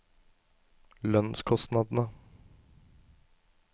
lønnskostnadene